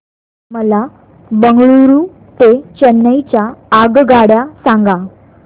मला बंगळुरू ते चेन्नई च्या आगगाड्या सांगा